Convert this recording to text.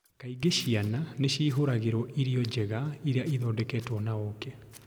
Kaingĩ ciana nĩ ciĩhũgagĩrũo irio njega iria ithondeketwo na ũũkĩ.